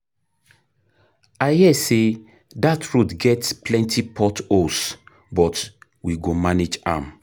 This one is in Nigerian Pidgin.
I hear sey dat road get plenty port holes but we go manage am.